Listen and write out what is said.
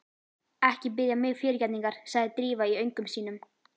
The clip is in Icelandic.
Ekki biðja mig fyrirgefningar sagði Drífa í öngum sínum.